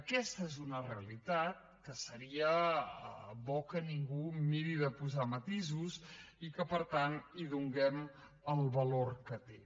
aquesta és una realitat que seria bo que ningú mirés de posar hi matisos i que per tant hi donéssim el valor que té